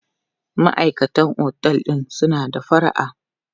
Maʼaikatan otel din suna da fara'a.